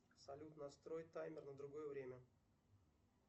салют настрой таймер на другое время